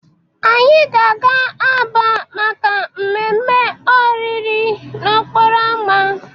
Anyị ga-aga Aba maka mmemme oriri n'okporo ámá.